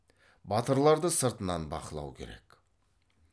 батырларды сыртынан бақылау керек